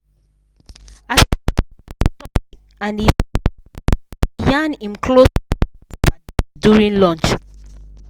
as e check him stock and e sweet am e yarn him close paddies paddies during lunch.